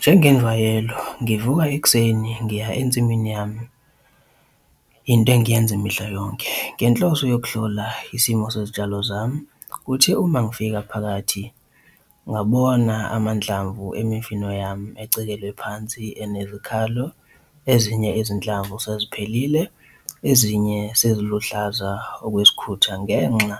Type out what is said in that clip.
Njengenjwayelo ngivuka ekuseni ngiya ensimini yami, into ngiyenza mihla yonke ngenhloso yokuhlola isimo sezitshalo zami. Kuthe uma ngifika phakathi ngabona amandlamvu emifino yami ecekelwe phansi enezikhalo, ezinye izinhlamvu seziphelile ezinye seziluhlaza okwesikhutha ngenxa